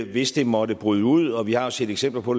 hvis den måtte bryde ud og vi har set eksempler på